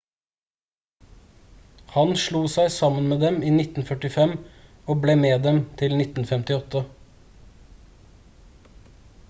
han slo seg sammen med dem i 1945 og ble med dem til 1958